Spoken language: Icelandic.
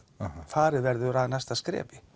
farið verður að næsta skrefi